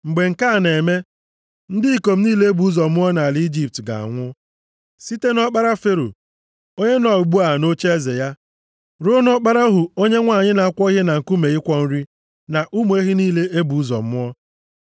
Mgbe nke a na-eme, ndị ikom niile e bụ ụzọ mụọ + 11:5 Gbaa gburugburu ala niile dị nʼetiti ọwụwa anyanwụ, ọdịnihu ezinaụlọ ọbụla na-adabere nʼọkpara. nʼala Ijipt ga-anwụ, site nʼọkpara Fero, onye nọ ugbu a nʼocheeze ya, ruo nʼọkpara ohu onye nwanyị na-akwọ ihe na nkume ịkwọ nri, na ụmụ ehi niile e bụ ụzọ mụọ.